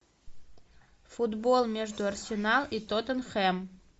футбол между арсенал и тоттенхэм